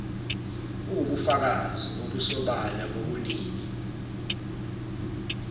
uwubufakazi obusobala bobunini